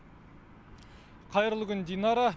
қайырлы күн динара